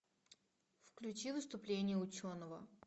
включи выступление ученого